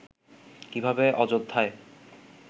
কিভাবে অযোধ্যায়